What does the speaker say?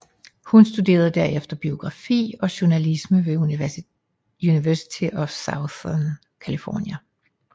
Hun studerede derefter biografi og journalisme ved University of Southern California